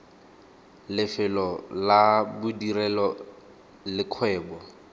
lefelo la bodirelo le kgwebo